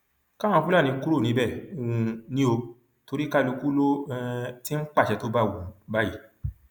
káwọn fúlàní kúrò níbẹ um ni ò torí kálukú ló um ti ń pàṣẹ tó bá wù ú báyìí